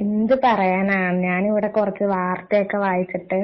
എന്ത് പറയാനാ ഞാൻ ഇവിടെ കുറച്ചു വാർത്തയൊക്കെ വായിച്ചിട്ട്